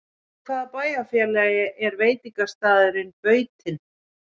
Í hvaða bæjarfélagi er veitingastaðurinn Bautinn?